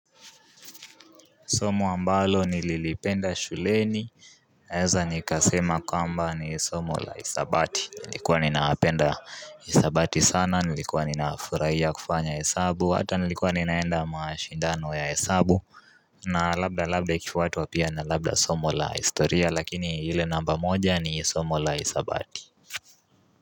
Somo ambalo nililipenda shuleni Naeza nikasema kwamba ni somo la isabati Nilikuwa ninapenda isabati sana nilikuwa ninaafurahia kufanya hesabu hata nilikuwa ninaenda mashindano ya hesabu na labda labda kifuatu wapia na labda somo la historia lakini ile namba moja ni somo la isabati.